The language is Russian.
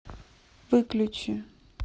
выключи